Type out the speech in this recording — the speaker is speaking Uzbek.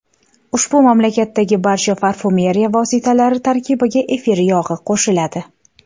Ushbu mamlakatdagi barcha parfyumeriya vositalari tarkibiga efir yog‘i qo‘shiladi.